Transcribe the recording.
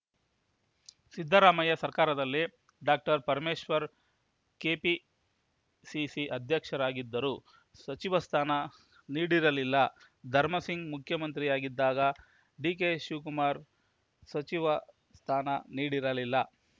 ಸಿದ್ದರಾಮಯ್ಯ ಸರ್ಕಾರದಲ್ಲಿ doctor Parameshwar KPCC ಅಧ್ಯಕ್ಷರಾಗಿದ್ದರೂ ಸಚಿವ ಸ್ಥಾನ ನೀಡಿರಲಿಲ್ಲ ಧರ್ಮಸಿಂಗ್‌ ಮುಖ್ಯಮಂತ್ರಿಯಾಗಿದ್ದಾಗ ಡಿಕೆಶಿವಕುಮಾರ್‌ಗೆ ಸಚಿವ ಸ್ಥಾನ ನೀಡಿರಲಿಲ್ಲ